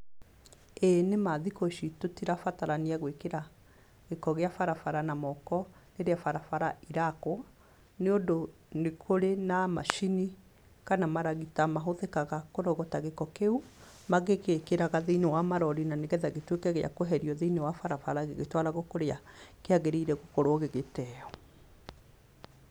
Ĩĩ nĩma thikũ ici tũtirabatarania gwĩkĩra gĩko gĩa barabara na moko rĩrĩa bara bara irakwo, nĩ ũndũ nĩ kũrĩ na macini kana maragita mahũthĩkaga kũrogota gĩko kĩu magĩgĩkagĩra thĩiniĩ wa marori na nĩgetha gĩtuĩke gĩa kweherio thĩini wa barabara gĩgĩtwaragwo kũrĩa kĩagĩrĩire gũkorwo gĩgĩteo.